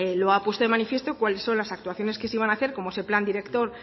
lo ha puesto de manifiesto cuáles son las actuaciones que se iban a hacer como es el plan director